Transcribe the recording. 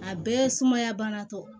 A bɛɛ sumaya bana tɛ